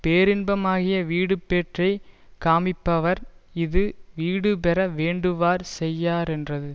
பேரின்பமாகிய வீடுபேற்றைக் காமிப்பவர் இது வீடுபெற வேண்டுவார் செய்யாரென்றது